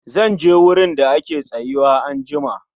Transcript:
Zanje wurin da ake tsayuwa anjima